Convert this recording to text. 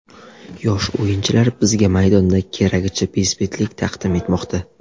Yosh o‘yinchilar bizga maydonda keragicha bezbetlik taqdim etmoqda.